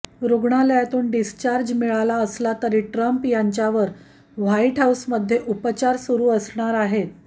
रुग्णालयातून डिस्चार्ज मिळाला असला तरी ट्रम्प यांच्यावर व्हाइट हाउसमध्ये उपचार सुरू असणार आहेत